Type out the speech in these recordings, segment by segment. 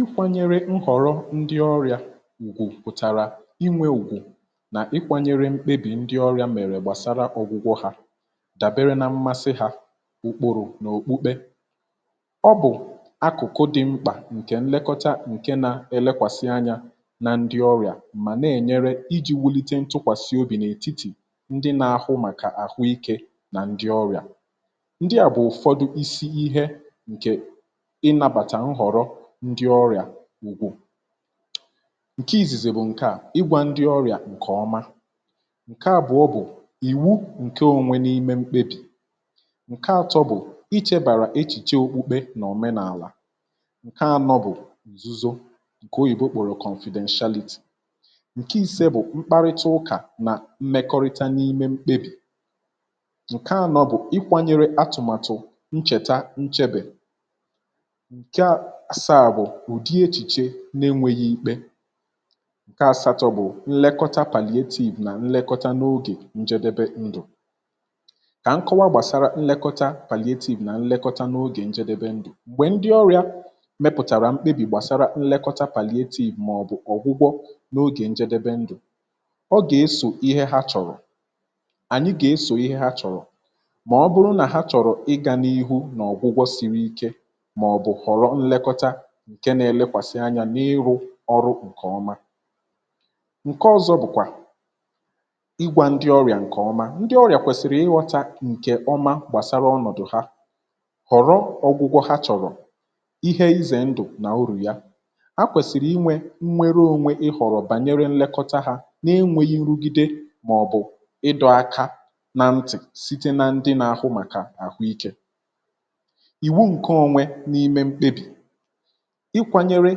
Ikwȧnyere nhọ̀rọ ndị ọrịà ùgwù pụ̀tàrà inwė ùgwù nà ikwȧnyere mkpebì ndị ọrịà mèrè gbàsara ọ̀gwụgwọ hȧ dàbere nȧ mmasị hȧ ụkpụ̇rụ̇ n’òkpukpe, ọ bụ̀ akụ̀kụ dị̇ mkpà nkè nlekọta nke na-elekwasị anyȧ nà ndị ọrịà mà nà-ènyere iji̇ wulite ntụkwàsị obì n’ètitì ndị nà-ahụ màkà àhụ ikė nà ndị ọrịà. Ndị à bụ̀ ụ̀fọdụ isi ihe nke inabàtà nhọrọ ndị ọrịà ugwù, ǹke izìzì bụ̀ ǹke à, igwȧ ndị ọrịà ǹkè ọma, ǹke àbụọ bụ̀ ìwu ǹke ònwe n’ime mkpebì, ǹke atọ bụ̀ ichėbàrà echìche okpukpe nà òmenàlà, ǹke anọ bụ̀ nzuzo ǹkè oyìbo kpọ̀rọ̀ confidentiality, ǹke isė bụ̀ mkparịta ụkà nà mmekọrịta n’ime mkpebì, ǹke anọ bụ̀ ịkwȧnyere atụ̀màtụ̀ nchèta nchebè, ǹke àsaà bụ̀ ụ̀dị echìche nà-enwėghi ikpe, ǹke àsatọ̇ bụ̀ nlekọta palliative nà nlekọta n’ogè njedebe ndụ̀ kà nkọwa gbàsara nlekọta palliative nà nlekọta n’ogè njedebe ndụ̀, m̀gbè ndị ọrịa mpịtàrà mkpebì gbàsara nlekọta palliative màọbụ̀ ọ̀gwụgwọ n’ogè njedebe ndụ̀, ọ gà-esò ihe ha chọ̀rọ̀ ànyị gà-esò ihe ha chọ̀rọ̀ mà ọ bụrụ nà ha chọ̀rọ̀ ịga n’ihu nà ọ̀gwụgwọ siri ike maòbù ghọrọ lekota ǹke na-elekwasị anya n’ịrụ̇ ọrụ ǹke ọma. Ǹke ọzọ bụ̀kwà ịgwȧ ndị ọrịà ǹke ọma, ndị ọrịà kwèsị̀rị̀ ịghọ̇ta ǹkè ọma gbàsara ọnọ̀dụ̀ ha ghọ̀rọ ọgwụgwọ ha chọ̀rọ̀ ihe izè ndụ̀ nà urù ya a kwèsị̀rị̀ inwė nnwere ȯnwė ịghọ̀rọ̀ banyere nlekọta ha na-enwėghi̇ nrụgide mà ọ̀ bụ̀ ịdọ̇aka na mtị̀ site na ndị nà ahụ màkà àhụ ikė. Iwu nke onwe na-ime mkpebì, ikwȧnyere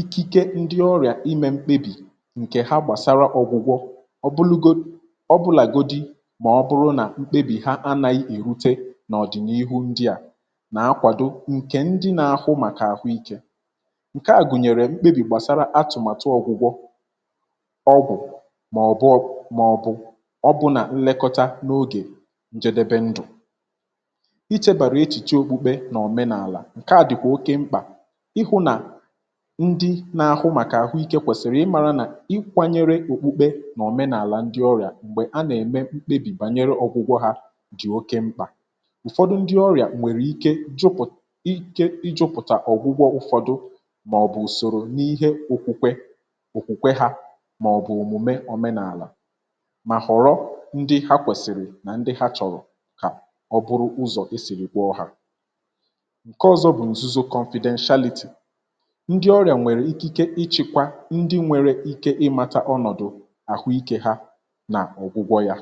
ikike ndị ọrịà imė mkpebì ǹkè ha gbàsara ọ̀gwụ̀gwọ ọbụlugo, ọbụlà godi mà ọ bụrụ nà mkpebì ha anȧghị̇ èhute n’ọ̀dị̀nihu ndia nà-akwàdo ǹkè ndi nà-ahụ màkà àhụ ikė, ǹke à gùnyèrè mkpebì gbàsara atụ̀màtụ ọ̀gwụ̀gwọ ọgwụ̀, mà ọ̀bụ mà ọ̀bụ ọ bụ nà nlekọta n’ogè njedebe ndụ̀, ichėbàrà echìche òkpukpe nà òmenàlà nke a dịkwa oké mkpa ịhụ nà ndị nȧ-ahụ màkà àhụike kwèsìrì ịmȧrȧ nà ikwȧnyere òkpukpe nà òmenàlà ndị ọrị̀à m̀gbè a nà-ème mkpebì bànyere ọ̀gwụgwọ ha dị̀ oke mkpà, ụ̀fọdụ ndị ọrị̀à nwèrè ike jupù ike ijupụ̀ta ọ̀gwụgwọ ụ̀fọdụ màọ̀bụ̀ ùsòrò n’ihe òkwukwe òkwùkwe ha màọ̀bụ̀ òmùme ọ̀menàlà mà họ̀rọ ndị ha kwèsìrì nà ndị ha chọ̀rọ̀ kà ọ bụrụ ụzọ̀ esìrì gwọ hà. Nkè ọzọ bú nzuzo confidentiality, ndị ọrịà nwèrè ikike ichekwa ndị nwere ike ịmȧtȧ ọnọ̀dụ̀ àhụ ikė ha n’ọ̀gwụgwọ yȧ.